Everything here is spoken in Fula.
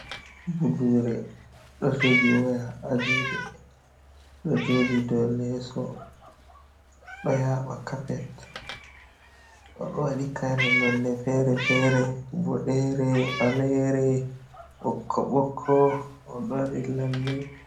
Budure, ɗo jogi waya a juɗe ɗo joɗi do leeso, ɗo yaɓa kapet. odo waɗi kare nonne fere fere, boɗere, ɓalere, ɓokko ɓokko oɗo waɗi lalle.